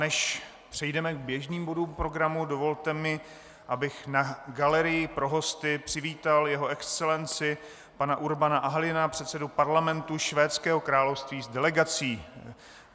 Než přejdeme k běžným bodům programu, dovolte mi, abych na galerii pro hosty přivítal Jeho Excelenci pana Urbana Ahlina, předsedu Parlamentu Švédského království, s delegací.